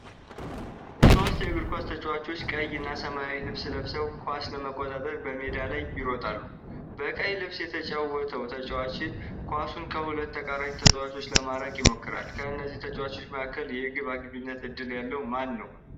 ሶስት የእግር ኳስ ተጫዋቾች ቀይ እና ሰማያዊ ልብስ ለብሰው፣ ኳስ ለመቆጣጠር በሜዳ ላይ ይሮጣሉ። በቀይ ልብስ የተጫወተው ተጫዋች ኳሱን ከሁለት ተቃራኒ ተጫዋቾች ለማራቅ ይሞክራል። ከእነዚህ ተጫዋቾች መካከል የግብ አግቢነት ዕድል ያለው ማነው?